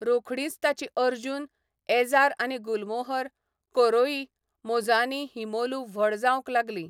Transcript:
रोखडींच ताची अर्जुन, एजार आनी गुलमोहर, कोरोइ, मोजआनी हिमोलू व्हड जावंक लागलीं.